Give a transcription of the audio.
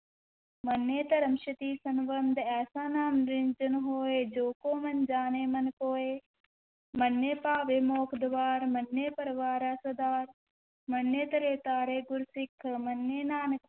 ਮੰਨੈ ਧਰਮ ਸੇਤੀ ਸਨਬੰਧੁ, ਐਸਾ ਨਾਮੁ ਨਿਰੰਜਨੁ ਹੋਇ, ਜੇ ਕੋ ਮੰਨਿ ਜਾਣੈ ਮਨਿ ਕੋਇ, ਮੰਨੈ ਪਾਵਹਿ ਮੋਖੁ ਦੁਆਰੁ, ਮੰਨੈ ਪਰਵਾਰੈ ਸਾਧਾਰੁ, ਮੰਨੈ ਤਰੈ ਤਾਰੇ ਗੁਰੁ ਸਿਖ, ਮੰਨੈ ਨਾਨਕ